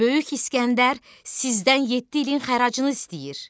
Böyük İskəndər sizdən yeddi ilin xəracını istəyir.